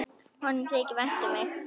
Honum þykir vænt um mig.